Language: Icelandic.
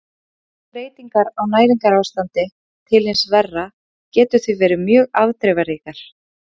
Minnstu breytingar á næringarástandi til hins verra geta því verið mjög afdrifaríkar.